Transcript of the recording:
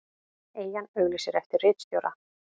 Eyjan auglýsir eftir ritstjóra